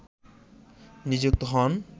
নিযুক্ত হন